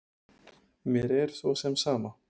Mér er svo sem sama.